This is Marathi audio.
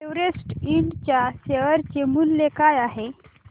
एव्हरेस्ट इंड च्या शेअर चे मूल्य काय आहे